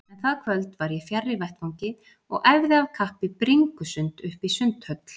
En það kvöld var ég fjarri vettvangi og æfði af kappi bringusund uppí Sundhöll.